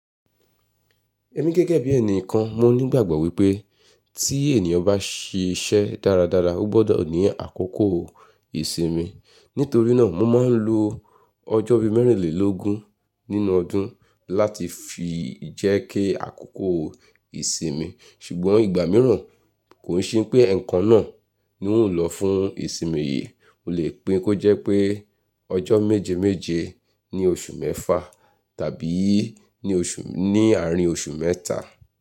Ẹ̀mi gẹ́gẹ́ bí ẹnìkan, mo ní ìgbàgbọ́ wípé tí ènìyàn bá ṣe iṣẹ́ dáradára, ó gbọ́dọ̀ ní àkókò ìsinmi. Nítorí náà, mo máa ń lo ọjọ́ bí mẹ́rìnlélógún nínú ọdún láti fi jẹ́ kí àkókò ìsinmi. Ṣùgbọ́n ìgbà mìíràn kò ṣe pé ekan náà ni n ó lọ fún ìsinmi yìí. Mo lè pín kó jẹ́ pé ọjọ́ méje méje ní oṣù mẹ́fa tàbí ní oṣù, ní àárín oṣù mẹ́ta.